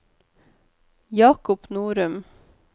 Jakob Norum